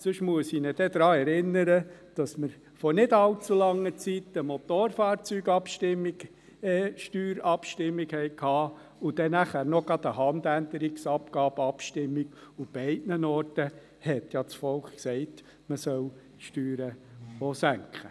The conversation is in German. Sonst muss ich ihn dann daran erinnern, dass wir vor nicht allzu langer Zeit eine Motorfahrzeugsteuer-Abstimmung hatten und dann gerade noch eine Handänderungsabgabe-Abstimmung, und zu beiden hatte das Volk ja gesagt, man solle Steuern auch senken.